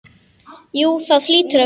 Jú það hlýtur að vera.